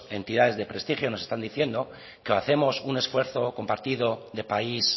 entidades de prestigio nos están diciendo que o hacemos un esfuerzo compartido de país